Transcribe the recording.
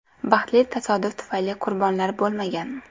Baxtli tasodif tufayli qurbonlar bo‘lmagan.